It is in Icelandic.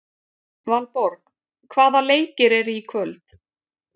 Valborg, hvaða leikir eru í kvöld?